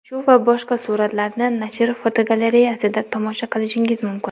Shu va boshqa suratlarni nashr fotogalereyasida tomosha qilishingiz mumkin.